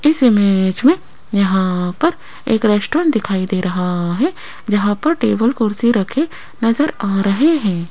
इस इमेज मे यहाँ पर एक रेस्टोरेंट दिखाई दे रहा है जहां पर टेबल कुर्सी रखें नजर आ रहे हैं।